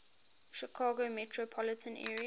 chicago metropolitan area